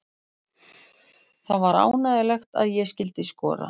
Það var ánægjulegt að ég skyldi skora.